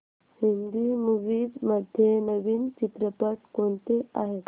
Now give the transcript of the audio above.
Hindi movies मध्ये नवीन चित्रपट कोणते आहेत